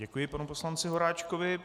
Děkuji panu poslanci Horáčkovi.